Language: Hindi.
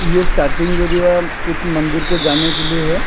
ये स्टार्टिंग एरिया कुछ मंदिर को जाने के लिए है।